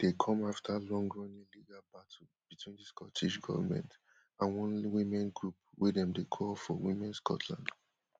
di ruling dey come afta longrunning legal battle between di scottish goment and one women group wey dem dey call for women scotland